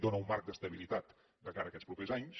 dóna un marc d’estabilitat de cara a aquests propers anys